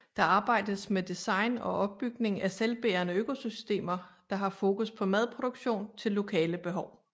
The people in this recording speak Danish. Der arbejdes med design og opbygning af selvbærende økosystemer der har fokus på madproduktion til lokale behov